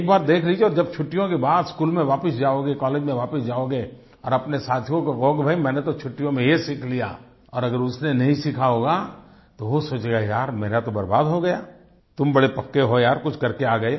एक बार देख लीजिये जब छुट्टियों के बाद स्कूल में वापिस जाओगे कॉलेज मे वापिस जाओगे और अपने साथियों को कहोगे कि भाई मैंने तो छुट्टीयों मे ये सीख लिया और अगर उसने नहीं सिखा होगा तो वो सोचेगा कि यार मेरा तो बर्बाद हो गया तुम बड़े पक्के हो यार कुछ करके आ गए